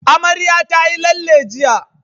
Amarya tayi lalle jiya.